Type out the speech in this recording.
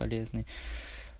полезный